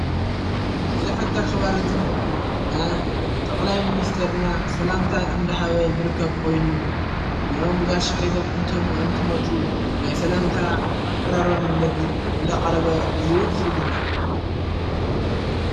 እዝ ሕጋ ኽባር እዙይ ና ጠቕላይ ምንስተርና ሰላምታ እንደሃበ ዘርከብ ኾይኑ ዘኦም ጋሻ ሒደም እንቶም እንትመጡ ናይ ሰላምታ ኣቀራርባ መንገዲ እንዳ ቐረበ እዩ ዝግነ።